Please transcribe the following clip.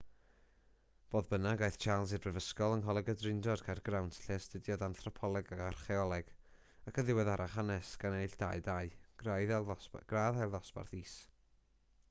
fodd bynnag aeth charles i'r brifysgol yng ngholeg y drindod caergrawnt lle astudiodd anthropoleg ac archaeoleg ac yn ddiweddarach hanes gan ennill 2:2 gradd ail ddosbarth is